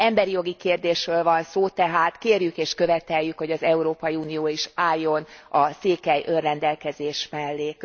Emberjogi kérdésről van szó, tehát kérjük és követeljük, hogy az Európai Unió is álljon a székely önrendelkezés mellé.